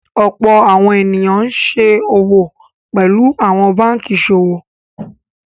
Ọ̀pọ̀ àwọn ènìyàn ni wọ́n ṣòwò pẹ̀lú àwọn báńkì ìṣòwò.